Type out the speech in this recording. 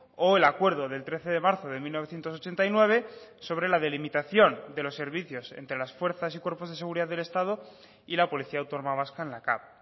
o el acuerdo del trece de marzo de mil novecientos ochenta y nueve sobre la delimitación de los servicios entre las fuerzas y cuerpos de seguridad del estado y la policía autónoma vasca en la cav